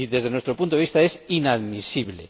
Y desde nuestro punto de vista es inadmisible.